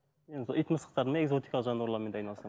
енді сол ит мысықтардың экзотикалық жануарлармен де айналысамын